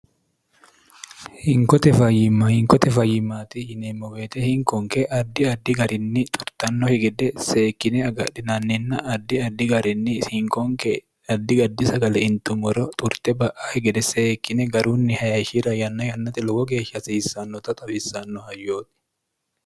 hinkote fayimma hinkote fayimmaati yineemmo beete hinkonke addi addi garinni xurtannohi gede seekkine agadhinanninna ardi addi garinni hinkonke addi gaddi sagale intummoro xurte ba'ahi gede seekkine garunni haeshira yanna yannate lowo geeshsha hasiissannota towissannoha yooti